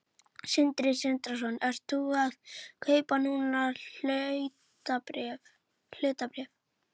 Sindri Sindrason: Ert þú að kaupa núna hlutabréf?